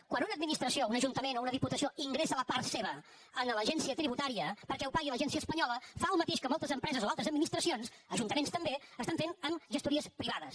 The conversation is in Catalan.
quan una administració un ajuntament o una diputació ingressa la part seva a l’agència tributària perquè ho pagui a l’agència espanyola fa el mateix que moltes empreses o altres administracions ajuntaments també estan fent amb gestories privades